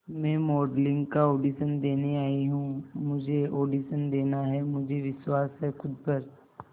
मैं मॉडलिंग का ऑडिशन देने आई हूं मुझे ऑडिशन देना है मुझे विश्वास है खुद पर